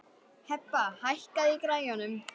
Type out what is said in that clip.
Hebba, hækkaðu í græjunum.